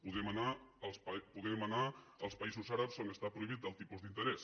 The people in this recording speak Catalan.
podem anar als països àrabs on està prohibit el tipus d’interès